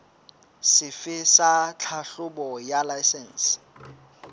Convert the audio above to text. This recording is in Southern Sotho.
sefe sa tlhahlobo ya laesense